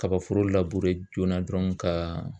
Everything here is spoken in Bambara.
Kabaforo joona dɔrɔn ka